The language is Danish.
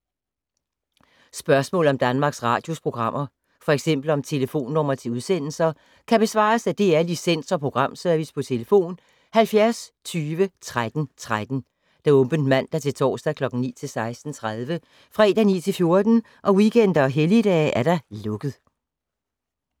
Spørgsmål om Danmarks Radios programmer, f.eks. om telefonnumre til udsendelser, kan besvares af DR Licens- og Programservice: tlf. 70 20 13 13, åbent mandag-torsdag 9.00-16.30, fredag 9.00-14.00, weekender og helligdage: lukket.